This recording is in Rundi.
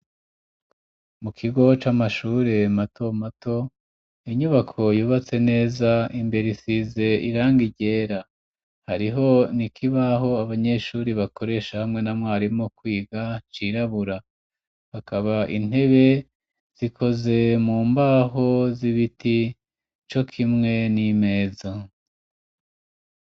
Mu kigo c'amashure mato mato inyubako yubatse neza, imbere isize irangi ryera hariho nikibaho abanyeshuri bakoresha hamwe na mwarimu kwiga cirabura, hakaba intebe zikoze mu mbaho z'ibiti co kimwe n'imeza.